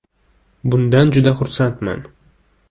“Bundan juda xursandman”.